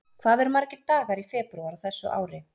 Hvað eru margir dagar í febrúar á þessu ári?